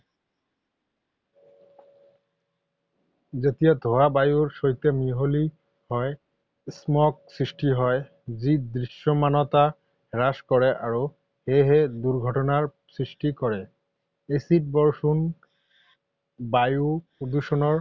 যেতিয়া ধোঁৱা বায়ুৰ সৈতে মিহলি হয়, Smog সৃষ্টি হয়, যি দৃশ্যমানতা হ্ৰাস কৰে আৰু সেয়েহে দুৰ্ঘটনাৰ সৃষ্টি কৰে। এচিড বৰষুণ বায়ু প্ৰদূষণৰ